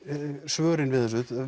svörin við þessu